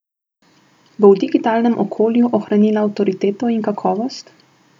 Bo v digitalnem okolju ohranila avtoriteto in kakovost?